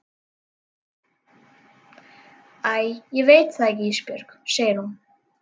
Æ ég veit það ekki Ísbjörg, segir hún.